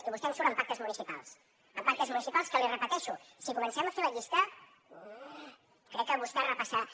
i vostè em surt amb pactes municipals amb pactes municipals que l’hi repeteixo si comencem a fer la llista crec que vostè repassarà